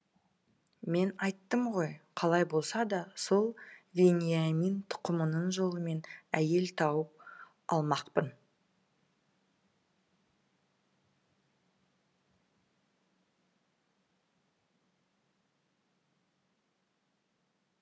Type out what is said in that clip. мен айттым ғой қалай болса да сол вениамин тұқымының жолымен әйел тауып алмақпын